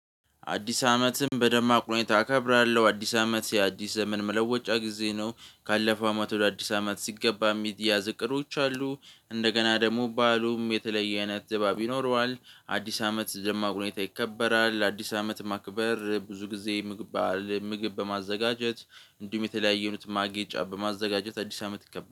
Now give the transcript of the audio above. አዲስ አመትም በደማቅ ሁኔታ አከብራለሁ አዲስ አመት የአዲስ ዘመን መለወጫ ጊዜ ነው ካለፈው አመት ወደ አዲስ አመት ሲገባ የሚያዝ እቅዶች አሉ እንደገና ደሞ ባአሉም የተለየ አይነት ድባብ ይኖረዋል። አዲስ አመት ደማቅ ሁኔታ ይከበራል አዲስ አመት ማክበር ብዙ ጊዜ። ምግብ በማዘጋጀት እንዲሁም የተለያዩ ማጌጫ በማዘጋጀት አዲስ አመት ይከበራል